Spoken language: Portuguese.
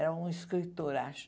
Era um escritor, acho.